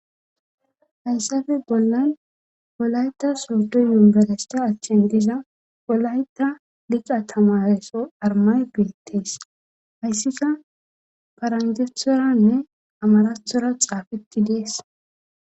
hayssafe bollan bolayta sorduy yunbelesta achchen diza bolayta diqa tamaheso armay beettees hayssika faranjethoranne amarathora xaafeti dees